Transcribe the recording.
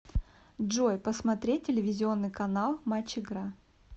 джой посмотреть телевизионный канал матч игра